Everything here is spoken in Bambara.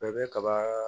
Bɛɛ bɛ kaba